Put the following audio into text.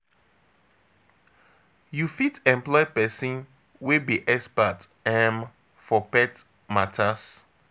You fit employ persin wey be expert um for pet matters